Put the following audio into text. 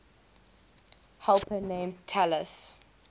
helper named talus